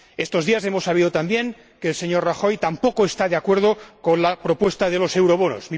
Estos días hemos sabido también que el señor Rajoy tampoco está de acuerdo con la propuesta de los eurobonos.